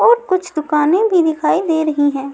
और कुछ दुकानें भी दिखाई दे रही हैं।